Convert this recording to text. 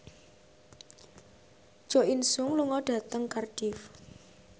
Jo In Sung lunga dhateng Cardiff